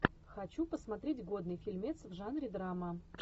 хочу посмотреть годный фильмец в жанре драма